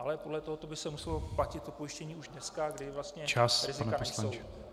Ale podle tohoto by se muselo platit to pojištění už dneska , kdy vlastně rizika nejsou.